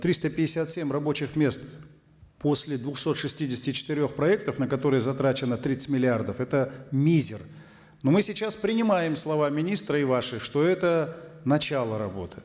триста пятьдесят семь рабочих мест после двухсот шестидесяти четырех проектов на которые затрачено тридцать миллиардов это мизер но мы сейчас принимаем слова министра и ваши что это начало работы